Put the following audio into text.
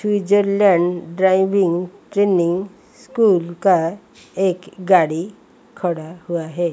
Switzerland driving training school का एक गाड़ी खड़ा हुआ है।